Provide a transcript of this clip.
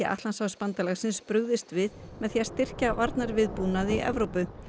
Atlantshafsbandalagsins brugðist við með því að styrkja varnarviðbúnað í Evrópu